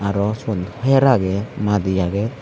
aro siyod her aage madi aage.